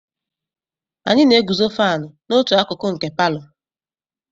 Anyị na-eguzo fánu n'otu akụkụ nke palọ